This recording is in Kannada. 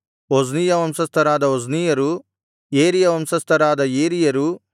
ಒಜ್ನೀಯ ವಂಶಸ್ಥರಾದ ಒಜ್ನೀಯರು ಏರೀಯ ವಂಶಸ್ಥರಾದ ಏರೀಯರು